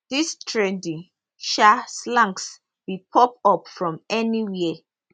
dis trendy um slangs bin pop up from anywhere